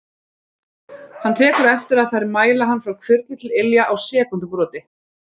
Hann tekur eftir að þær mæla hann frá hvirfli til ilja á sekúndubroti.